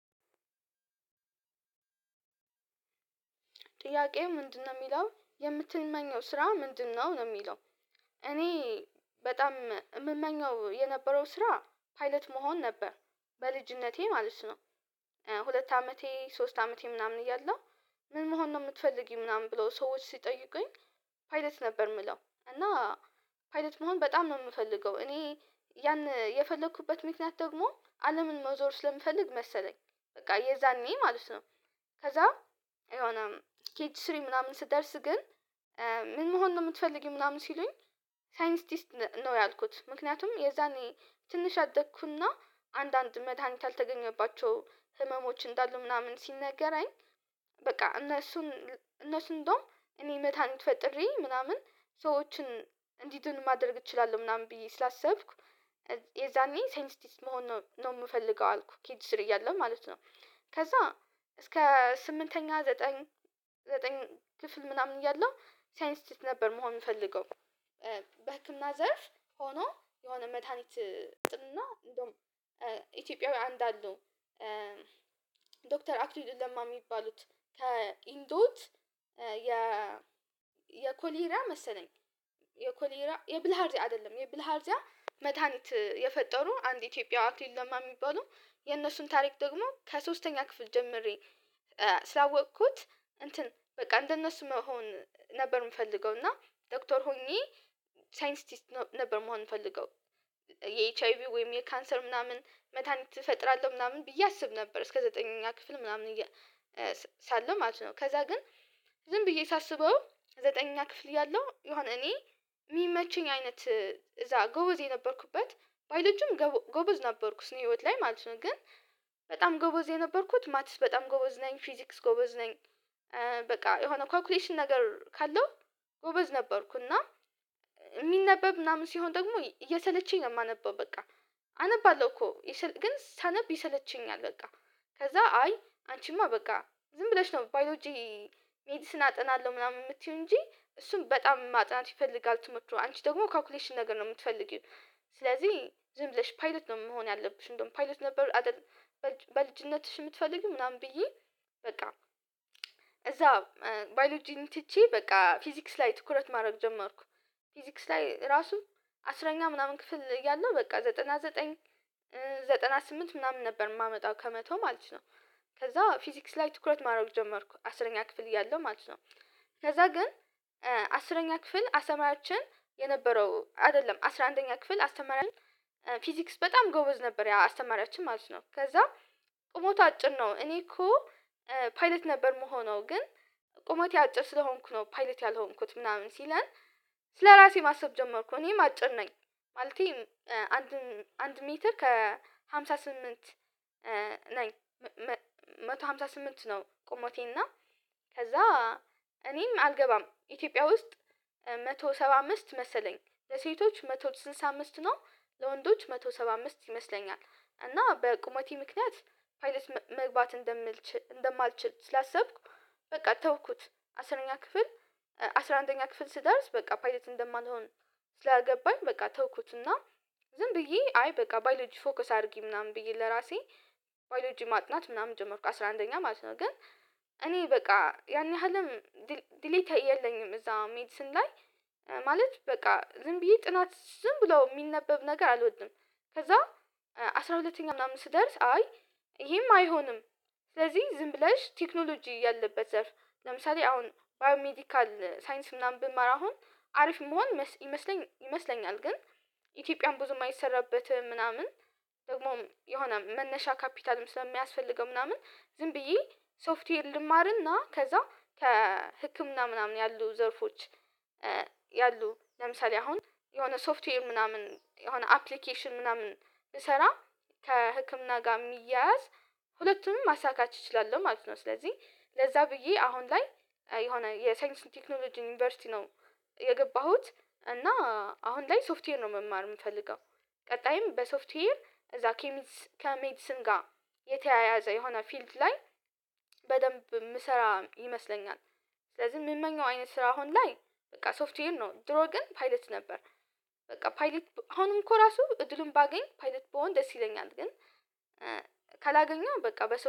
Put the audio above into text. ጥያቄው ምንድነው የሚለው የምትመኘው ስራ ምንድነው ነው የሚለው እኔ በጣም የምመኘው የነበረው ስራ ፓይለት መሆን ነበር በልጅነቴ ማለት ነው። ሁለት አመቴ ሶስት አመቴ ምናምን እያለሁ ምን መሆን ነው የምትፈልጊው ምናምን ብለው ሰዎች ሲጠይቁኝ። ፓይለት ነበር የምለው እና ፓይለት መሆን በጣም ነው የምፈልገው እኔ ያን የፈለኩበት ምክንያት ደግሞ አለምን መዞር ስለምፈልግ መሰለኝ። በቃ የዛኔ ማለት ነው። ከዛ የሆነ ኬጂ ስሪ ምናምን ስደርስ ግን ምን መሆን ነው የምትፈልጊው ምናምን ሲሉኝ። ሳይንቲስት ነው ያልኩት ምክንያቱም የዛኔ ትንሽ አደግኩና አንዳንድ መድሃኒት ያልተገኘባቸው ህመሞች እንዳሉ ምናምን ሲነገራኝ። በቃ እነሱን እነሱን እንደውም እኔ መዳኒት ፈጥሬ ምናምን ሰዎችን እንዲድኑ ማድረግ እችላለሁ ምናምን ብዬ ስላሰብኩ። የዛኔ ሳይንቲስት መሆን ነው የምፈልገው አልኩ ኬጂ ስሪ እያለሁ ማለት ነው። ከዛ እስከ ስምንተኛ ዘጠኝ ዘጠኝ ክፍል ምናምን እያለሁ ሳይንቲስት ነበር መሆን የምፈልገው። በህክምና ዘርፍ ሆኖ የሆነ መድሃኒት እና እንደውም ኢትዮጵያዊ አንድ አለው። ዶክተር አክሊሉ ለማ የሚባሉት ከእንዶድ የ የኮሌራ መሰለኝ። የኮሌራ የብልሃርዚያ አይደለም የብልሃርዚያ መድሃኒት የፈጠሩ አንድ ኢትዮጵያዊ አክሊሉ ለማ የሚባሉ። የነሱን ታሪክ ደግሞ ከሶስተኛ ክፍል ጀምሬ ስላወቅኩት እንትን በቃ እንደነሱ መሆን ነበር የምፈልገው። እና ዶክተር ሆኜ ሳይንቲስት ነበር መሆን ምፈልገው። የኤች አይ ቪ ወይም የካንሰር ምናምን መድሃኒት እፈጥራለሁ ምናምን ብዬ አስብ ነበር እስከ ዘጠነኛ ክፍል ምናምን ሳለው ማለት ነው። ከዛ ግን ዝም ብዬ ሳስበው። ዘጠነኛ ክፍል እያለሁ ዮሃን እኔ የሚመችኝ አይነት እዛ ጎበዝ የነበርኩበት በሌሎችም ጎበዝ ነበርኩስ ስነህይወት ላይ ማለት ነው ግን በጣም ጎበዝ የነበርኩት ማትስ በጣም ጎበዝ ነኝ ፊዚክስ ጎበዝ ነኝ። በቃ የሆነ ካልኩሌሽን ነገር ካለው ጎበዝ ነበርኩ እና። የሚነበብ ምናምን ሲሆን ደግሞ እየሰለቸኝ ነው የማነበው በቃ። አነባለሁ እኮ ግን ሳነብ ይሰለቸኛል በቃ። ከዛ አይ አንቺማ በቃ ዝም ብለሽ ነው ባዮሎጂ። ሜዲስን አጥናለሁ ምናምን የምትይው እንጂ እሱን በጣም ማጥናት ይፈልጋል ትምህርቱ አንቺ ደግሞ ካልኩሌሽን ነገር ነው ምትፈልጊው። ስለዚህ ዝም ብለሽ ፓይለት ነው መሆን ያለብሽ እንደውም ፓይለት ነበር። በልጅነትሽ የምትፈልጊው ምናምን ብዬ በቃ እዛ ባዮሎጂን ትቼ በቃ ፊዚክስ ላይ ትኩረት ማድረግ ጀመርኩ። ፊዚክስ ላይ ራሱ አስረኛ ምናምን ክፍል እያለሁ በቃ ዘጠና ዘጠኝ ዘጠና ስምንት ምናምን ነበር የማመጣው ከመቶ ማለት ነው። ከዛ ፊዚክስ ላይ ትኩረት ማድረግ ጀመርኩ አስረኛ ክፍል እያለሁ ማለት ነው። ከዛ ግን አስረኛ ክፍል አስተማሪያችን የነበረው አይደለም አስራ አንደኛ ክፍል አስተማሪያችን ፊዚክስ በጣም ጎበዝ ነበር ያ አስተማሪያችን ማለት ነው። ከዛ ቁመቱ አጭር ነው እኔ እኮ። ፓይለት ነበር የምሆነው ግን ቁመቴ አጭር ስለሆንኩ ነው ፓይለት ያልሆንኩት ምናምን ሲላን ስለራሴ ማሰብ ጀመርኩ እኔም አጭር ነኝ። ማለቴ አንድ ሜትር ከሃምሳ ስምንት ነኝ አንድ መቶ አምሳ ስምንት ነው ቁመቴ እና። ከዛ እኔም አልገባም ኢትዮጵያ ውስጥ አንድ መቶ ሰባ አምስት መሰለኝ ለሴቶች አንድ መቶ ስድሳ አምስት ነው። ለወንዶች መቶ ሰባ አምስት ይመስለኛል እና በቁመቴ ምክንያት ፓይለት መግባት እንደማልችል ስላሰብኩ። በቃ ተውኩት አስረኛ ክፍል አስራ አንደኛ ክፍል ስደርስ በቃ ፓይለት እንደማንሆን ስላገባኝ በቃ ተውኩትና። ዝም ብዬ አይ በቃ ባይሎጂ ፎከስ አድርጊ ምናምን ብዬ ለራሴ ባይሎጂ ማጥናት ምናምን ጀመርኩ አስራ አንደኛ ማለት ነው ግን። እኔ በቃ ያን ያህልም ድሌታ የለኝም እዛ ሜዲስን ላይ ማለት በቃ ዝም ብዬ ጥናት ዝም ብለው የሚነበብ ነገር አልወድም። ከዛ አስራ ሁለተኛ ምናምን ስደርስ አይ ይሄም አይሆንም። ስለዚህ ዝም ብለሽ ቴክኖሎጂ ያለበት ዘርፍ ለምሳሌ አሁን ባዮሜዲካል ሳይንስ ምናምን ብመር አሁን አሪፍ ምሆን ይመስለኛል ግን ኢትዮጵያም ብዙም አይሰራበትም ምናምን። ደግሞም የሆነ መነሻ ካፒታልም ስለሚያስፈልገው ምናምን ዝም ብዬ ሶፍትዌር ልማርና ከዛ ከህክምና ምናምን ያሉ ዘርፎች። ያሉ ለምሳሌ አሁን የሆነ ሶፍትዌር ምናምን የሆነ አፕሊኬሽን ምናምን ብሰራ ከህክምና ጋር የሚያያዝ ሁለቱንም ማሳካት እችላለሁ ማለት ነው። ስለዚህ ለዛ ብዬ አሁን ላይ የሆነ የሳይንስና ቴክኖሎጂ ዩኒቨርሲቲ ነው። የገባሁት እና አሁን ላይ ሶፍትዌር ነው መማር የምፈልገው። ቀጣይም በሶፍትዌር እዛ ከሜድስን ጋር የተያያዘ የሆነ ፊልድ ላይ። በደንብ የምሰራ ይመስለኛል። ስለዚህ የምመኘው አይነት ስራ አሁን ላይ በቃ ሶፍትዌር ነው ድሮ ግን ፓይለት ነበር። በቃ ፓይለት አሁንም እኮ ራሱ እድሉን ባገኝ ፓይለት ብሆን ደስ ይለኛል ግን። ካላገኘው በቃ በሰው